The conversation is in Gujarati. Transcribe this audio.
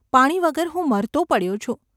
પાણી વગર હું મરતો પડ્યો છું.